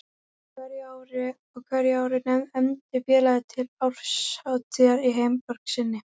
Á hverju ári efndi félagið til árshátíðar í heimaborg sinni